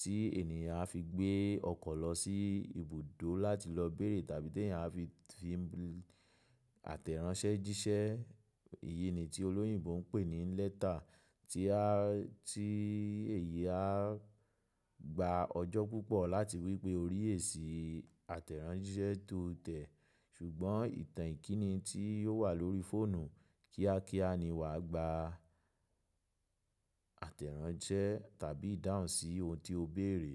tí ènìyàn a fi gbé ọkọ̀ lọ sí ibùdó láti lọ bẹ̀rẹ̀ tàbí tí èèyàn a fi tí ìtẹ́ránṣẹ́ jíṣẹ́. Èyí ni tí òlòyìnbó ń pè ní letter, tí á, tí èyí á gba ọjọ́ púpọ̀ láti rí i pé ó ríhẹ́ sí àtẹ̀ránṣẹ́ tó tẹ́. Sùgbọ́n ìtàn ìkíni tí ó wà lórí fóònù kíákíá ni wà á gba àtẹ̀ránṣẹ́ tàbí dáhùn sí ohun tí o béèrè.